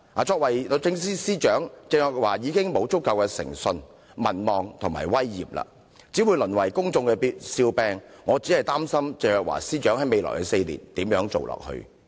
作為律政司司長，鄭若驊已沒有足夠的誠信、民望及威嚴，只會淪為公眾笑柄，我擔心鄭若驊司長如何在未來4年繼續履行其職務。